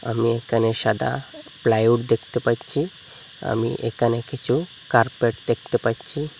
আমি একানে সাদা প্লাইউড দেখতে পাচ্চি আমি একানে কিছু কার্পেট দেখতে পাচ্চি।